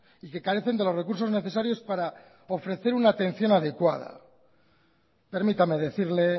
y que carecen de los recursos necesarios para ofrecer una atención adecuada permítame decirle